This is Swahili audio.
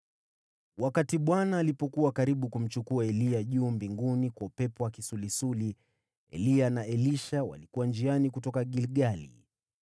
Wakati Bwana alipokuwa karibu kumchukua Eliya mbinguni kwa upepo wa kisulisuli, Eliya na Elisha walikuwa njiani wakitoka Gilgali.